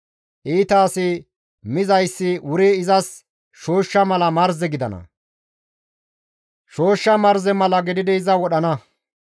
Iita asi mizayssi wuri izas shooshsha marze mala gidana; shooshsha marze mala gididi iza wodhana.